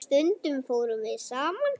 Stundum fórum við saman.